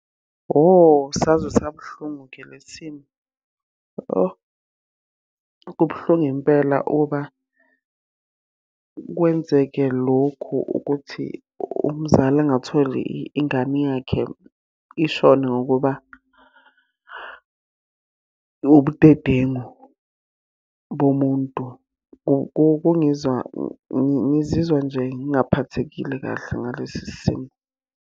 Hho saze sabuhlungu-ke le simo. Oh, kubuhlungu impela ukuba kwenzeke lokhu ukuthi umzali angatholi ingane yakhe ishone ngokuba, ubudedengu bomuntu. Kungizwa, ngizizwa nje ngingaphathekile kahle ngalesi simo.